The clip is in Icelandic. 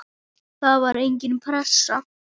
Það var engin pressa.